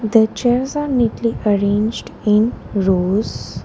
The chairs are neatly arranged in rows.